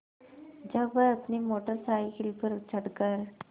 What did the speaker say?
जब वह अपनी मोटर साइकिल पर चढ़ कर